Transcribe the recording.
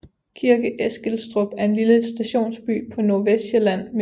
Kirke Eskilstrup er en lille stationsby på Nordvestsjælland med